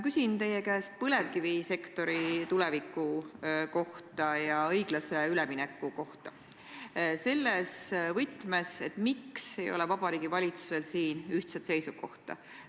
Küsin teie käest põlevkivisektori tuleviku kohta ja õiglase ülemineku kohta – selles võtmes, miks ei ole Vabariigi Valitsusel ühtset seisukohta.